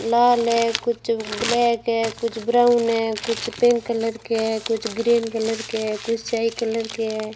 लाल है कुछ ब्लैक है कुछ ब्राउन है कुछ पिंक कलर के है कुछ ग्रीन कलर के है कुछ स्याही कलर के है।